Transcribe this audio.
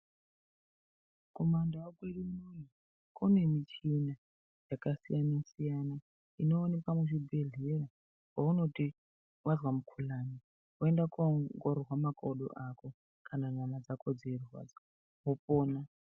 Kumandau kwedu unono kunewo midziyo yakasiyana siyana inoonekwa muzvibhedhlera kwaunoti vazwa mukuhlani wenda kunoongororwa makodo ako kana nyama dzako dzeirwadza wopona.